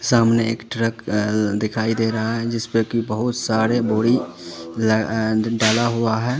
सामने एक ट्रक दिखाई दे रहा है जिसमें की बहुत सारे बोरी डाला हुआ है।